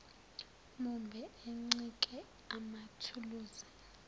mumbe oncike emathuluzini